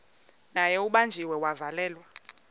naye ubanjiwe wavalelwa